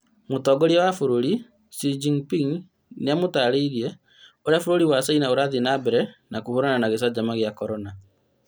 Mũtongoria wa bũrũri Xi-Jiping nĩamũtarĩirie ũrĩa bũrũri wa China ũrathie na mbere kũhũrana na gĩcanjama gĩa korona